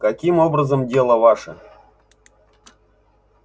каким образом дело ваше